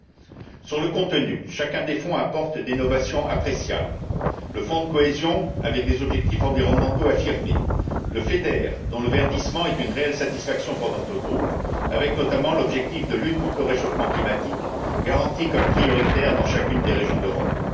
Pour ce qui est du contenu, chacun des fonds apporte des novations appréciables le fonds de cohésion, avec des objectifs environnementaux affirmés, le FEDER, dont le verdissement est une réelle satisfaction pour notre groupe, avec notamment l'objectif de lutte contre le réchauffement climatique, garanti comme prioritaire dans chacune des régions d'Europe.